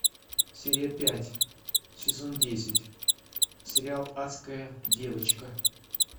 серия пять сезон десять сериал адская девочка